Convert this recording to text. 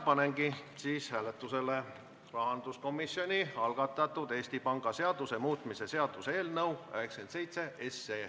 Panen hääletusele rahanduskomisjoni algatatud Eesti Panga seaduse muutmise seaduse eelnõu 97.